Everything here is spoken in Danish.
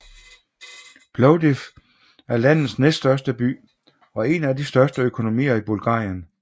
Plovdiv er landets næststørste by og en af de største økonomier i Bulgarien